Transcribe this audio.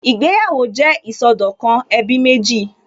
Ìgbéyàwó jẹ́ ìsọdọ̀kan ẹbí méjì